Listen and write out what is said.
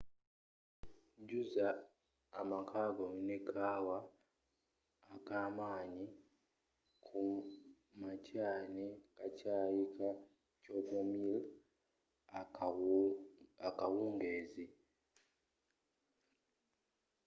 jjuza amakaago ne kakaawa ak'amaanyi kumakya ne kacaayi ka chamomile akawungeezi